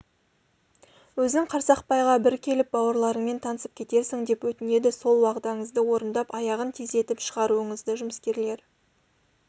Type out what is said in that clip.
өзің қарсақпайға бір келіп бауырларыңмен танысып кетерсің деп өтінеді сол уағдаңызды орындап аяғын тездетіп шығаруыңызды жұмыскерлер